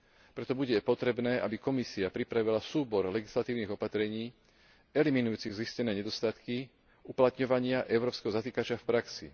Preto bude potrebné, aby Komisia pripravila súbor legislatívnych opatrení eliminujúcich zistené nedostatky uplatňovania európskeho zatykača v praxi.